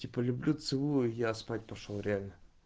люблю целую я спать пошёл реально